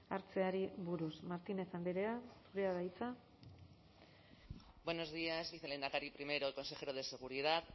hartzeari buruz martínez andrea zurea da hitza buenos días vicelehendakari primero y consejero de seguridad